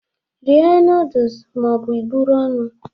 Rie nọọdụs ma ọ bụ i buru ọnụ!